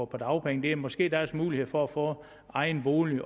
på dagpenge det er måske deres mulighed for at få egen bolig